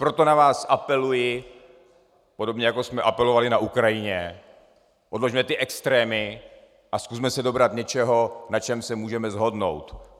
Proto na vás apeluji, podobně jako jsme apelovali na Ukrajině, odložme ty extrémy a zkusme se dobrat něčeho, na čem se můžeme shodnout.